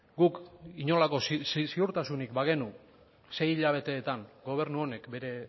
guk inolako ziurtasunik bagenu sei hilabeteetan gobernu honek bere